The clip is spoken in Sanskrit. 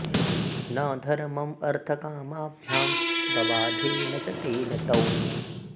न धर्मं अर्थकामाभ्यां बबाधे न च तेन तौ